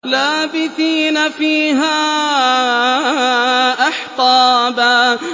لَّابِثِينَ فِيهَا أَحْقَابًا